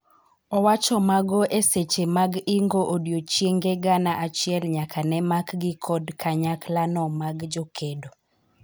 owacho mago eseche mag ingo odiochienge gana achiel nyaka ne makgi kod kanyakla no mag jokedo